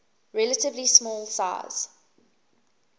relatively small size